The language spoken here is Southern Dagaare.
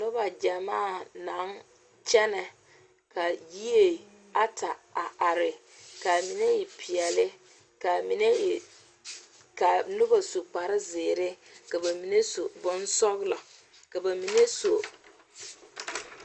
Noba gyamaa naŋ kyɛne , ka yie Ata a are ka mine e pɛɛle ka noba su kpare zeɛre ka ba mine su bon sɔglɔ ka ba mine su bon pɛɛle.